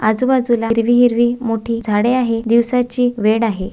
आजूबाजूला हिरवी हिरवी मोठी झाडे आहे दिवसाची वेळ आहे.